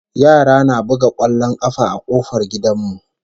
Yara na buga kwallon kafa a kofar gidan mu